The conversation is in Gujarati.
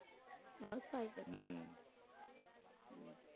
હાઉસવાઈફ જ છે.